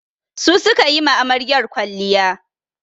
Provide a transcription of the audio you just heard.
Su su ka yi ma amaryar kwalliya.